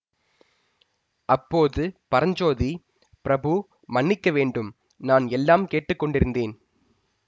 அப்போது பரஞ்சோதி பிரபு மன்னிக்க வேண்டும் நான் எல்லாம் கேட்டு கொண்டிருந்தேன்